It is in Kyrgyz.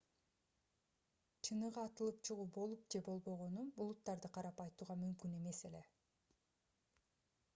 чыныгы атылып чыгуу болуп же болбогонун булуттарды карап айтууга мүмкүн эмес эле